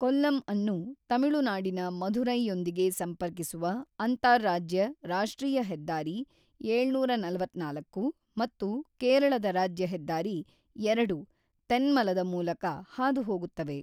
ಕೊಲ್ಲಮ್ಅನ್ನು ತಮಿಳುನಾಡಿನ ಮಧುರೈಯೊಂದಿಗೆ ಸಂಪರ್ಕಿಸುವ ಅಂತಾರಾಜ್ಯ ರಾಷ್ಟ್ರೀಯ ಹೆದ್ದಾರಿ-ಏಳುನೂರ ನಲತ್ತ್ನಾಲ್ಕು ಮತ್ತು ಕೇರಳದ ರಾಜ್ಯ ಹೆದ್ದಾರಿ-ಎರಡು ತೆನ್ಮಲದ ಮೂಲಕ ಹಾದು ಹೋಗುತ್ತವೆ.